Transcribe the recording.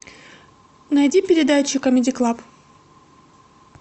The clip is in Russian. найди передачу камеди клаб